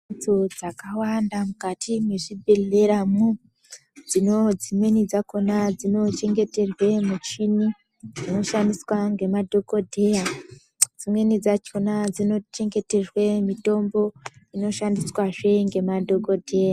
Mhatso dzakawanda mukati mwezvibhedhleramwo, dzino dzimweni dzakhona dzinochengeterwe michini, inoshandiswa ngemadhokodheya. Dzimweni dzakhona dzinochengeterwe mitombo, inoshandiswazve ngemadhokodheya.